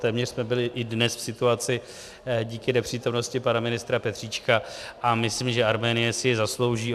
Téměř jsme byli i dnes v situaci díky nepřítomnosti pana ministra Petříčka, a myslím, že Arménie si ji zaslouží.